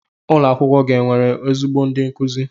Ụlo akwụkwọ gi onwere ezigbo ndi nkuzi?